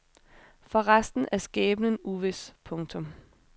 For resten er skæbnen uvis. punktum